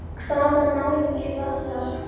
Hann pabbi er farinn.